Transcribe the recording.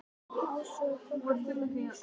Ási og Kobbi fóru að njósna.